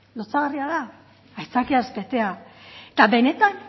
lotsagarria da aitzakiaz betea eta benetan